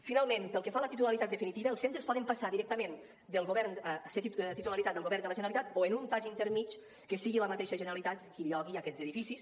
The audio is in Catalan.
finalment pel que fa a la titularitat definitiva els centres poden passar directament a ser titularitat del govern de la generalitat o en un pas intermedi que sigui la mateixa generalitat qui llogui aquests edificis